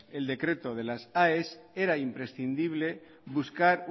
el decreto de las aes era imprescindible buscar